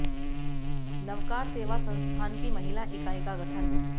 नवकार सेवा संस्थान की महिला इकाई का गठन